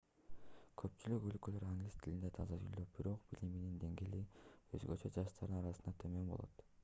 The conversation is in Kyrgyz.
көпчүлүк өлкөлөр англис тилинде таза сүйлөп бирок билиминин деңгээли өзгөчө жаштардын арасында төмөн болот